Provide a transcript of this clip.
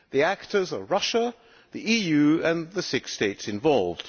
The actors are Russia, the EU and the six states involved.